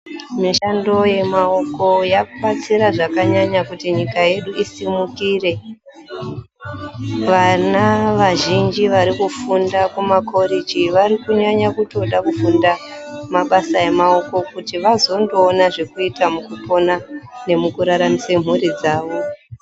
Mishando ye maoko yaku batsira zvakanyanya kuti nyika yedu isumukire vana vazhinji vari kufunda ku makoreji vari kunyanya kutoda kufunda mabasa emaoko kuti vazondo ona zvekuita mukupona neku raramisa mhuri dzavo.